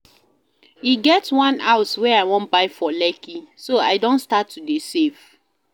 E get one house wey I wan buy for Lekki so I don start to save